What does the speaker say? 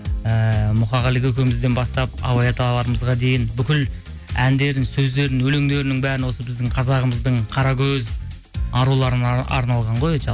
ііі мұқағали көкемізден бастап абай аталарымызға дейін бүкіл әндерін сөздерін өлеңдерінің бәрін осы біздің қазағымыздың қаракөз аруларына арналған ғой